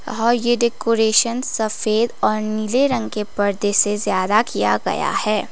आहा यह डेकोरेशन सफेद और नीले रंग के पर्दे से ज्यादा किया गया है।